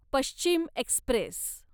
Paschim Express